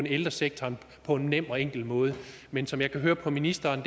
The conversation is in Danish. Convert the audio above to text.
ældresektoren på en nem og enkel måde men som jeg kan høre på ministeren